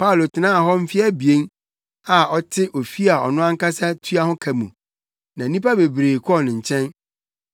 Paulo tenaa hɔ mfe abien, a na ɔte ofi a ɔno ankasa tua ho ka mu, na nnipa bebree kɔɔ ne nkyɛn.